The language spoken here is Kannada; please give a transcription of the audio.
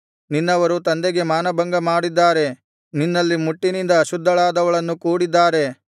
ನಿನ್ನವರು ತಂದೆಗೆ ಮಾನಭಂಗ ಮಾಡಿದ್ದಾರೆ ನಿನ್ನಲ್ಲಿ ಮುಟ್ಟಿನಿಂದ ಅಶುದ್ಧಳಾದವಳನ್ನು ಕೂಡಿದ್ದಾರೆ